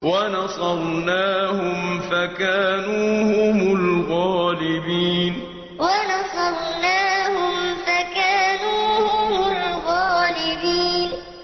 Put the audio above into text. وَنَصَرْنَاهُمْ فَكَانُوا هُمُ الْغَالِبِينَ وَنَصَرْنَاهُمْ فَكَانُوا هُمُ الْغَالِبِينَ